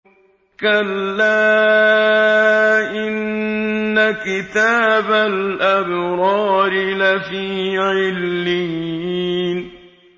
كَلَّا إِنَّ كِتَابَ الْأَبْرَارِ لَفِي عِلِّيِّينَ